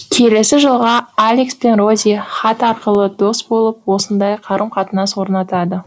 келесі жылға алекс пен рози хат арқылы дос болып осындай қарым қатынас орнатады